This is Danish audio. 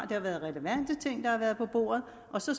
det har været relevante ting der har været på bordet og så